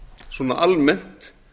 svona almennt